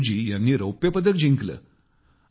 सिंधू जी ह्यांनी रौप्यपदक जिंकले